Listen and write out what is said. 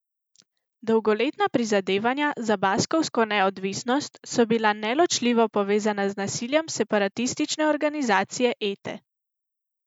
Dolgoletna prizadevanja za baskovsko neodvisnost so bila neločljivo povezana z nasiljem separatistične organizacije Ete.